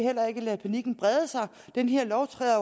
ikke lade panikken brede sig denne lov træder